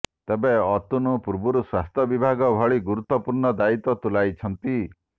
ତେବେ ଅତନୁ ପୂର୍ବରୁ ସ୍ୱାସ୍ଥ୍ୟ ବିଭାଗ ଭଳି ଗୁରୁତ୍ୱପୂର୍ଣ୍ଣ ଦାୟିତ୍ୱ ତୁଲାଇଛନ୍ତି